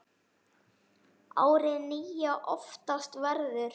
árið nýja oftast verður